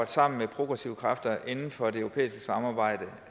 sammen med progressive kræfter inden for det europæiske samarbejde